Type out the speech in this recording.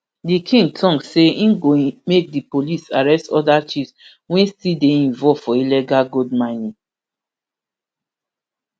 di king tok say im go make di police arrest oda chiefs wia still dey involved for illegal gold mining